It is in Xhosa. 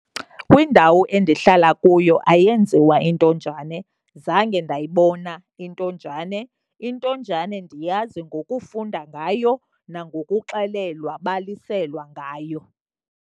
Kwindawo endihlala kuyo ayenziwa intonjane. Zange ndayibona intonjane, intonjane ndiyazi ngokufunda ngayo nangokuxelelwa baliselwa ngayo.